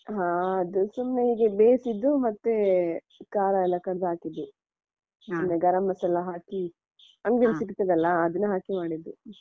ಹ ಅದು ಸುಮ್ನೆ ಹೀಗೆ ಬೈಸಿದ್ದು ಮತ್ತೆ ಖರಾಯೆಲ್ಲಾ ಕಡ್ದು ಹಾಕಿದ್ದು ಗರಂ ಮಸಾಲಾ ಹಾಕಿ ಅಂಗಡಿಯಲ್ಲಿ ಸಿಗ್ತದಲ್ಲಾ ಅದನ್ನ ಹಾಕಿ ಮಾಡಿದ್ದು.